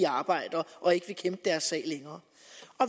arbejdere og ikke vil kæmpe deres sag længere